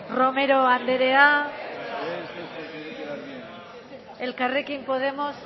romero anderea elkarrekin podemos